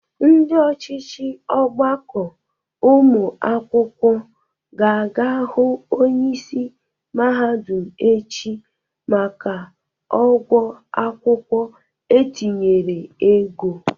Ndị ọchịchị ọgbakọ ụmụ akwụkwọ ga-aga hụ onyeisi mahadụm echi maka ọgwọ akwụkwọ etinyere ego.